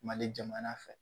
Mali jamana fɛ